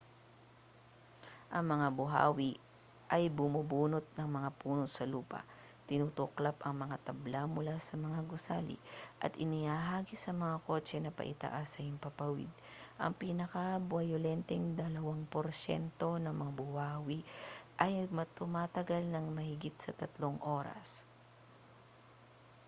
ang mga buhawi ay bumubunot ng mga puno sa lupa tinutuklap ang mga tabla mula sa mga gusali at ihinahagis ang mga kotse na paitaas sa himpapawid ang pinakabayolenteng dalawang porsyento ng mga buhawi ay tumatagal nang mahigit sa tatlong oras